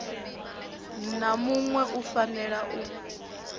na muṋwe u fanela u